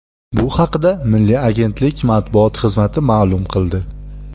Bu haqda Milliy agentlik matbuot xizmati ma’lum qildi .